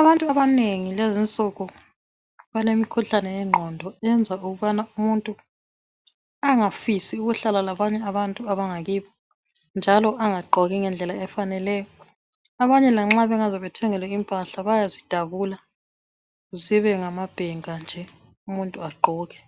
Abantu abanengi lezinsuku bagula imikhuhlane wengqondo yenza ukubana umuntu angafisi ukuhlalalabanye abantu bangakibo njalo bangagqoki ngendlela efaneleyo abanye lanxa bangaze bathengelwe izigqoko ezintsha bayazidabula zibenhamabhenka nje agqoke